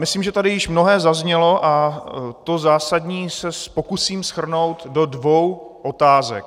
Myslím, že tady již mnohé zaznělo, a to zásadní se pokusím shrnout do dvou otázek.